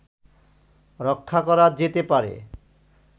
রক্ষা করা যেতে পারে